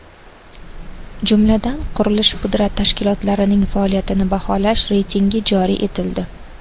Jumladan, qurilish-pudrat tashkilotlarining faoliyatini baholash reytingi joriy etildi.